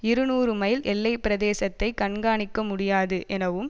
இருநூறு மைல் எல்லை பிரதேசத்தை கண்காணிக்க முடியாது எனவும்